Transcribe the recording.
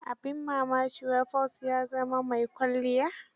Abin mmaki, wai Paul ya zama mai kwalliya.